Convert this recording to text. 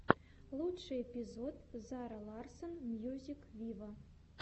лучший эпизод зара ларсон мьюзик виво